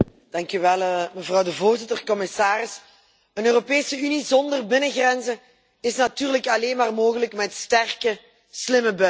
Mevrouw de voorzitter, commissaris, een Europese Unie zonder binnengrenzen is natuurlijk alleen maar mogelijk met sterke, slimme buitengrenzen.